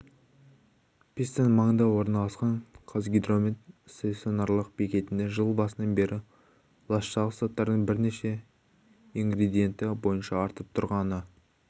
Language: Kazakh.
пистань маңында орналасқан қазгидромет стационарлық бекетінде жыл басынан бері ластағыш заттардың бірнеше ингредиенті бойынша артып тұрғаны